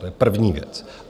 To je první věc.